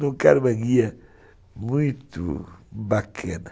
colocaram uma guia muito bacana.